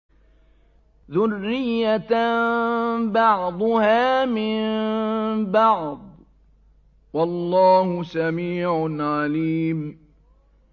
ذُرِّيَّةً بَعْضُهَا مِن بَعْضٍ ۗ وَاللَّهُ سَمِيعٌ عَلِيمٌ